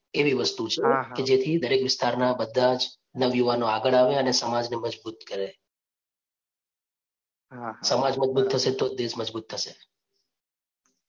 એવી વસ્તુ છે કે જેથી દરેક વિસ્તારના બધા જ નવયુવાન આગળ આવે ને સમાજ ને મજબૂત કરે. સમાજ મજબૂત થશે તો જ દેશ મજબૂત થશે.